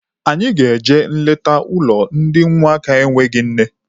Anyị ga-eje nleta n'ụlọ ndị ụmụaka enweghị nne.